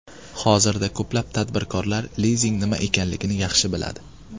Hozirda ko‘plab tadbirkorlar lizing nima ekanligini yaxshi biladi.